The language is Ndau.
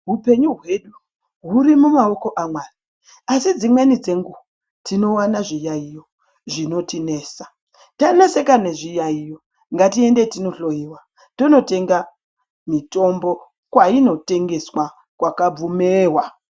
Upenyu hwedu huri mumaoko amwari asi dzimweni dzenguwa tinowana zviyaiyo zvinotinesa taneseka nezviyaiyo ngatiende tinohloiwa tonotenga mitombo kwainotengeswa kwakabvumewa.